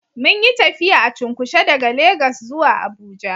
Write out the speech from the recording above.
Munyi tafiya a cunkushe daga Legas zuwa abuja